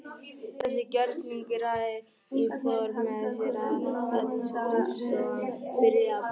Þessi gjörningur hafði í för með sér að öll skrifstofan byrjaði að bráðna.